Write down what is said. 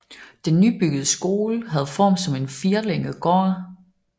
Den nybyggede skole havde form som en firlænget gård